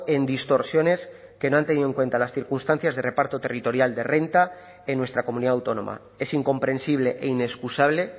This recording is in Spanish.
en distorsiones que no han tenido en cuenta las circunstancias de reparto territorial de renta en nuestra comunidad autónoma es incomprensible e inexcusable